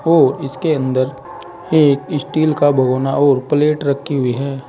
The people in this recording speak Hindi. और इसके अंदर एक स्टील का भगौना और प्लेट रखी हुई है।